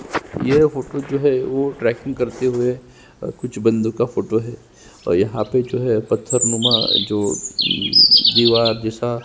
ये फोटो जो है ट्रैकिंग करते हुए कुछ बन्दों का फोटो है और यहाँ पर जो है पत्थर नुमा जो है जो दीवार दिशा --